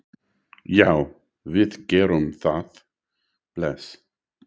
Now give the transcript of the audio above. Já, við gerum það. Bless.